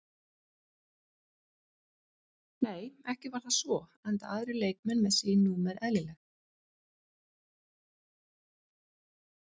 Nei ekki var það svo enda aðrir leikmenn með sín númer eðlileg.